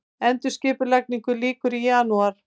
Endurskipulagningu lýkur í janúar